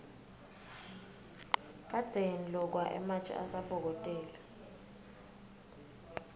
kadzeni lokwa ematje asabokotela